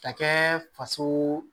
Ka kɛ faso